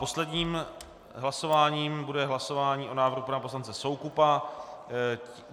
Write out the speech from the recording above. Posledním hlasováním bude hlasování o návrhu pana poslance Soukupa.